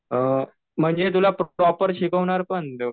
अ म्हणजे तुला प्रॉपर शिकवणार पण